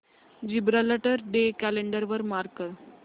Gibraltar day calendar वर mark कर